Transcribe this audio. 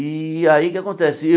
E aí o que é que acontece?